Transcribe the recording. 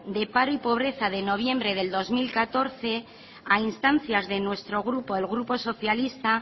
de paro y pobreza de noviembre del dos mil catorce a instancias de nuestro grupo el grupo socialista